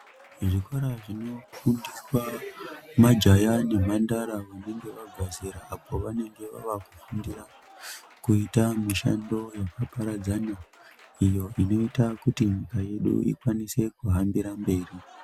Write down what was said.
Zvikora zvinofundiswa majaya nemhandara vanenge vabva zera apo vanenge vava kufundira mishando yakaparadzana, iyo inoita kuti nyika yedu ikwanise kuhambira mberi.